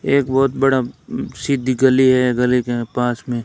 एक बहुत बड़ा उम्म सीधी गली है गली के पास में।